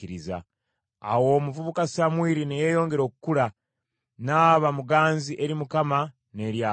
Awo omuvubuka Samwiri ne yeeyongera okukula, n’aba muganzi eri Mukama n’eri abantu.